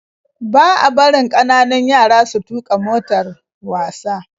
Ba a barin kananun yara su tuka motar wasa